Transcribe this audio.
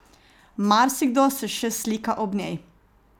Marsikdo se še slika ob njej.